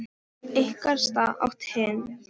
Ykkar stað, át hinn hæðnislega upp eftir honum.